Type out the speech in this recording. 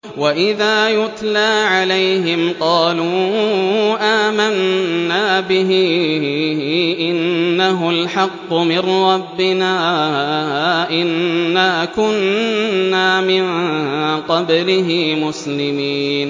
وَإِذَا يُتْلَىٰ عَلَيْهِمْ قَالُوا آمَنَّا بِهِ إِنَّهُ الْحَقُّ مِن رَّبِّنَا إِنَّا كُنَّا مِن قَبْلِهِ مُسْلِمِينَ